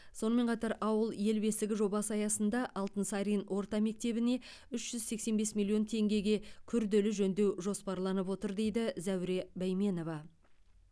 сонымен қатар ауыл ел бесігі жобасы аясында алтынсарин орта мектебіне үш жүз сексен бес миллион теңгеге күрделі жөндеу жоспарланып отыр дейді зәуре бәйменова